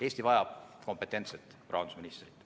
Eesti vajab kompetentset rahandusministrit.